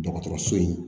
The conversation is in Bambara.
Dɔgɔtɔrɔso in